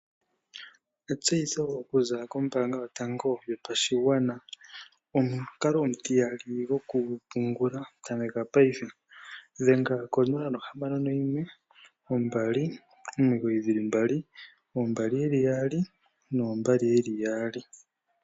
Etseyitho okuziilila kombaanga yotango yopashigwana . Omukalo omutiyali gokupungula, tameka payife dhenga 061 2992222